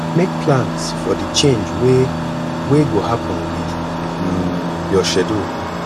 make plans for di change wey wey go happen with um your schedule